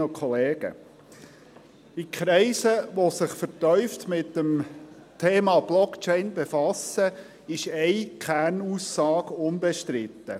In Kreisen, die sich vertieft mit dem Thema Blockchain befassen, ist eine Kernaussage unbestritten: